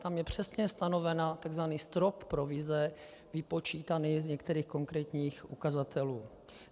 Tam je přesně stanovený tzv. strop provize vypočítaný z některých konkrétních ukazatelů.